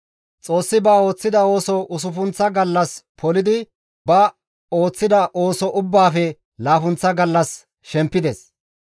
Xoossi ba ooththida ooso usuppunththa gallas polidi ba ooththida ooso ubbaafe laappunththa gallas shempides.